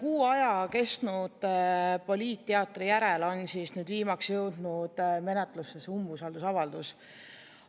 Üle kuu aja kestnud poliitteatri järel on nüüd viimaks jõudnud menetlusse see umbusaldusavaldus.